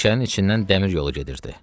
Meşənin içindən dəmir yolu gedirdi.